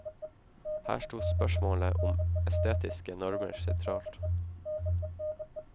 Her stod spørsmålet om estetiske normer sentralt.